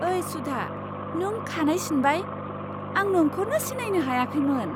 ओइ सुधा, नों खानाय सिनबाय! आं नोंखौनो सिनायनो हायाखैमोन!